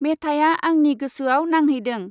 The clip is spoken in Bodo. मेथाइआ आंनि गोसोआव नांहैदों।